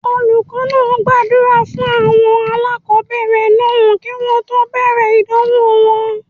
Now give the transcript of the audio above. Olùkọ́ náà gbàdúrà fún àwọn aláàkọ́bẹ̀rẹ̀ náà kí wọ́n tó bẹ̀rẹ̀ ìdánwò wọn.